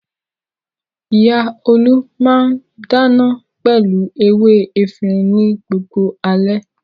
Ìyá Olú máà ń dáná pẹ̀lú ewé efirin ní gbogbo alẹ́.